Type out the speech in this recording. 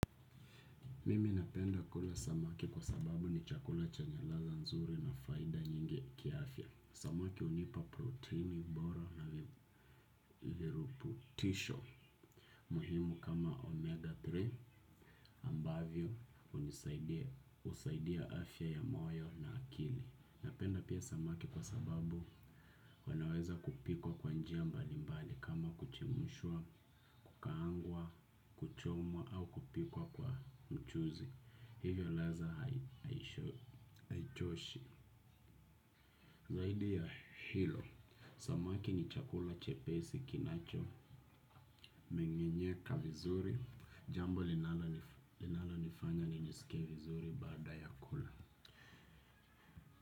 Mimi napenda kula samaki kwa sababu ni chakula chenya ladha nzuri na faida nyingi kiafya. Samaki hunipa proteini bora na viruputisho muhimu kama omega tatu ambavyo hunisaidia, husaidia afya ya moyo na akili. Napenda pia samaki kwa sababu wanaweza kupikwa kwa njia mbalimbali kama kuchemshwa, kukaangwa, kuchomwa au kupikwa kwa mchuzi. Hivyo ladha haichoshi. Zaidi ya hilo samaki ni chakula chepesi kinacho mengenyeka vizuri. Jambo linalonifanya nisike vizuri baada ya kula.